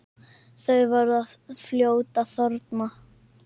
Þau verða fljót að þorna.